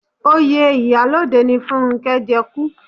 Oyè ìyálode ni Fúnnkẹ́ jẹ kú